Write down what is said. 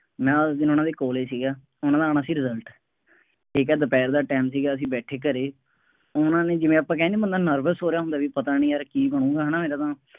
ਮੈਂ ਉਸ ਦਿਨ ਉਹਨਾ ਦੇ ਕੋਲੇਂ ਸੀਗਾ, ਉਹਨਾ ਦਾ ਆਉਣਾ ਸੀ result, ਠੀਕ ਹੈ ਦੁਪਹਿਰ ਦਾ time ਸੀਗਾ ਅਸੀਂ ਬੈਠੇ ਘਰੇ, ਹੁਣ ਉਹਨਾ ਨੇ ਜਿਵੇਂ ਆਪਾਂ ਕਿਹਾ ਨਹੀਂ ਬੰਦਾ nervous ਹੋ ਰਿਹਾ ਹੁੰਦਾ ਬਈ ਪਤਾ ਨਹੀਂ ਯਾਰ ਕੀ ਬਣੂੰਗਾ ਹੈ ਨਾ ਇਹਦਾ ਤਾਂ